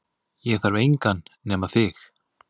Ég þarf engan nema þig